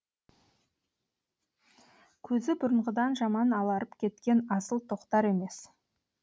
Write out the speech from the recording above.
көзі бұрынғыдан жаман аларып кеткен асыл тоқтар емес